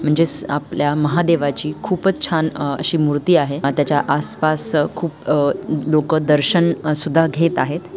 म्हणजेच आपल्या महादेवाची खूपच छान अ अशी मूर्ति आहे त्याच्या आसपास खुप अ लोक दर्शन सुद्धा घेत आहेत.